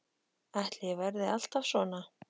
Ætli ég verði alltaf svona?